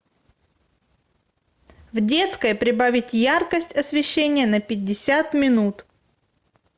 в детской прибавить яркость освещения на пятьдесят минут